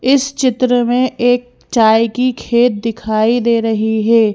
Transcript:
इस चित्र में एक चाय की खेत दिखाई दे रही है।